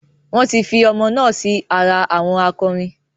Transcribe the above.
Wọn tí fi ọmọ náà sì ara àwọn akọrin